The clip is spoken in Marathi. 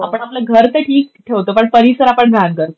आपण आपलं घर तर ठीक ठेवतो पण परिसर आपण घाण करतो.